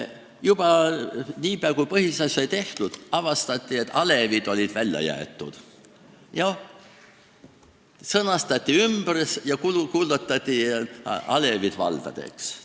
Juba niipea, kui põhiseadus sai valmis, avastati, et alevid olid välja jäetud, sõnastati ümber ja kuulutati alevid valdadeks.